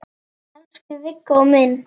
Elsku Viggó minn.